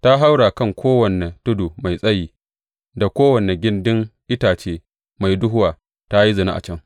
Ta haura kan kowane tudu mai tsayi da kowane gindin itace mai duhuwa ta yi zina a can.